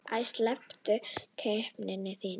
Æi, slepptu skepnan þín!